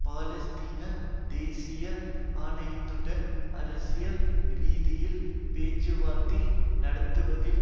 பாலஸ்தீன தேசிய ஆணையத்துடன் அரசியல் ரீதியில் பேச்சுவார்த்தை நடத்தவில்லை